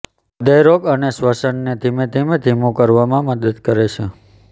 હ્રદયરોગ અને શ્વસનને ધીમે ધીમે ધીમું કરવામાં મદદ કરે છે